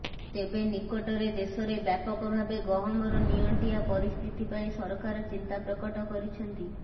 ତେବେ ନିକଟରେ ଦେଶରେ ବ୍ୟାପକ ଭାବେ ଗହମର ନିଅଣ୍ଟିଆ ପରିସ୍ଥିତି ପାଇଁ ସରକାର ଚିନ୍ତା ପ୍ରକଟ କରିଛନ୍ତି